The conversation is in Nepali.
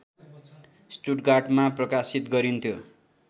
स्टुटगार्टबाट प्रकाशित गरिन्थ्यो